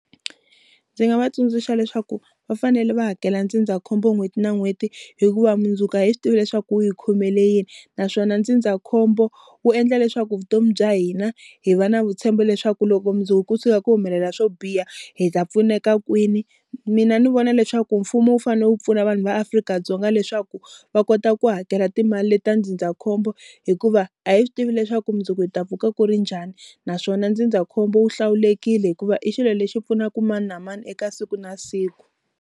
Ndzi nga va tsundzuxa leswaku va fanele va hakela ndzindzakhombo n'hweti na n'hweti hikuva mundzuku a hi swi tivi leswaku wu hi khomele yini naswona ndzindzakhombo wu endla leswaku vutomi bya hina hi va na vutshembo leswaku loko mundzuku ku tshuka ku humelela swo biha hi ta pfuneka kwini mina ndzi vona leswaku mfumo wu fane wu pfuna vanhu va Afrika-Dzonga leswaku va kota ku hakela timali leta ndzindzakhombo hikuva a hi swi tivi leswaku mundzuku hi ta pfuka ku ri njhani naswona ndzindzakhombo wu hlawulekile hikuva i xilo lexi pfunaku mani na mani eka siku na siku.